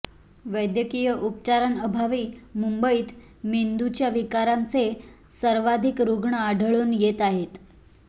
वैद्यकीय उपचारांअभावी मुंबईत मेंदूच्या विकारांचे सर्वाधिक रुग्ण आढळून येत आहेत